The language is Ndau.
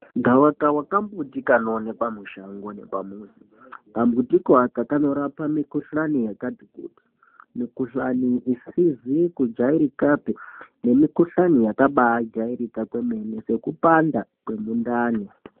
Gawakawa kambuti kanoonekwa mushango nepamuzi kambutiko aka kanorapa mikuhlani yakati kuti mikuhlani isizi kujairikapi nemukuhlani yakabajairika kwemene nekupanda kwemundani.